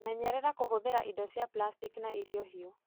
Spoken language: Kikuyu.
Menyerera kũhũthĩra ĩndo cia plastiki na irio hiũ.